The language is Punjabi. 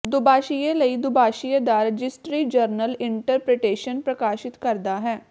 ਦੁਭਾਸ਼ੀਏ ਲਈ ਦੁਭਾਸ਼ੀਏ ਦਾ ਰਜਿਸਟਰੀ ਜਰਨਲ ਇੰਟਰਪ੍ਰੀਟੇਸ਼ਨ ਪ੍ਰਕਾਸ਼ਿਤ ਕਰਦਾ ਹੈ